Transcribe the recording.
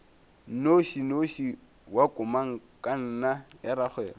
nnošinoši wa komangkanna ya rakgwebo